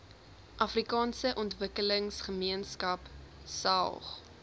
afrikaanse ontwikkelingsgemeenskap saog